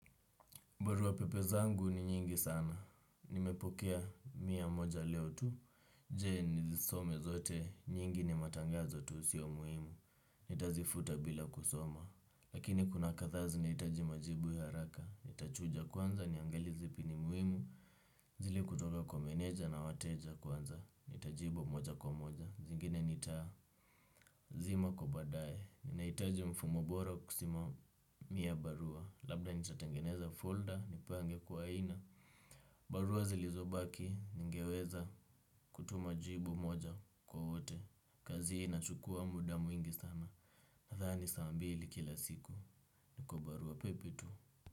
Baruwa pepe zangu ni nyingi sana. Nimepokea mia moja leo tu. Je nizisome zote. Nyingi ni matangazo tu sio muhimu. Nitazifuta bila kusoma. Lakini kuna katha zinaitaji majibu ya haraka. Nitachuja kwanza niangalie zipi ni muhimu. Zili kutoka kwa meneja na wateja kwanza. Nitajibu moja kwa moja. Zingine nitazima kwa badaye. Naitaji mfumo bora kusimamia barua. Labda nitatengeneza folder nipange kwa aina. Barua zilizobaki ningeweza kutuma jibu moja kwa wote. Kazi hii na chukua muda mwingi sana. Nadhani saa mbili kila siku kwa barua pepe tu.